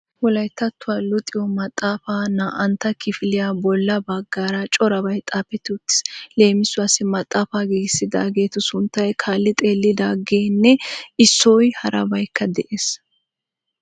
Wolayttattuwa luxiyo maxaafa naa"antta kifiliya bolla baggaara corabay xaafeti uttiis, leemiauwassi maxaafa giigissidaagetu sunttay kaalli xeellidaagenne issoi harabaykka d'e'ees .